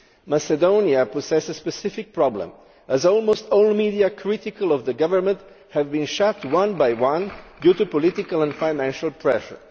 Macedonia poses a specific problem, as almost all media critical of the government have been shut one by one due to political or financial pressure.